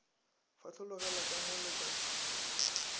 fetlologela ka mo le ka